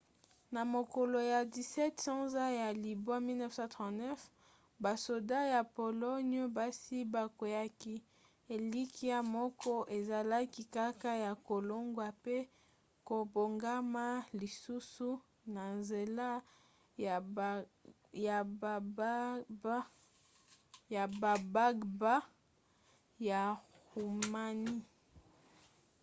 na mokolo ya 17 sanza ya libwa 1939 basoda ya pologne basi bakweaki elikia moko ezalaki kaka ya kolongwa pe kobongama lisusu na nzela ya bagbagba ya roumanie